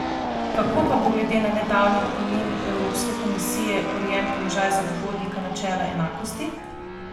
Kako pa bo glede na nedavni opomin Evropske komisije urejen položaj zagovornika načela enakosti?